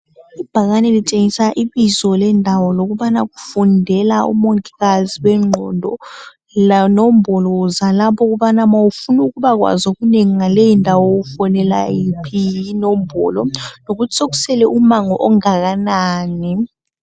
Ibhakane litshengisa ibizo lendawo lokubana kufundela omongikazi bengqondo, lenombolo zalaph'okubana nxa ufun'ukuba kwazi okunengi ufonela yiphi inombolo, lokuthi sekusele umango ongakanani.